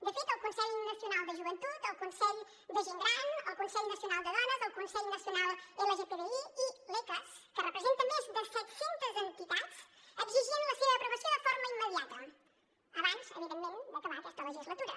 de fet el consell nacional de joventut el consell de gent gran el consell nacional de dones el consell nacional lgtbi i l’ecas que representa més de set centes entitats exigien la seva aprovació de forma immediata abans evidentment d’acabar aquesta legislatura